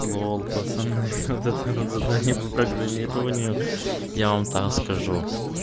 лол пацаны вот это вот задание по программированию я вам так скажу